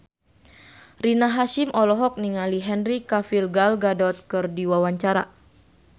Rina Hasyim olohok ningali Henry Cavill Gal Gadot keur diwawancara